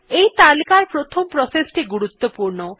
এই তালিকার প্রথম প্রসেস টি গুরুত্বপূর্ণ